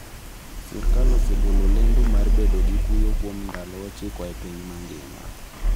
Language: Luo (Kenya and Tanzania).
Sirkal osegolo lendo mar bedo gi kuyo kuom ndalo ochiko e piny mangima.